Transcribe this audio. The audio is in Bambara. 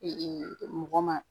mɔgɔ ma